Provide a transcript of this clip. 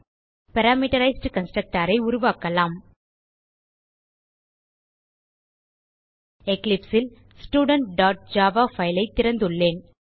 parameterized constructor உருவாக்கலாம் Eclipse ல் studentஜாவா பைல் ஐ திறந்துள்ளேன்